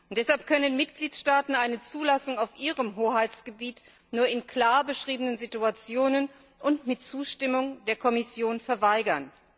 Deshalb können Mitgliedstaaten eine Zulassung auf ihrem Hoheitsgebiet nur in klar beschriebenen Situationen und mit Zustimmung der Kommission verweigern.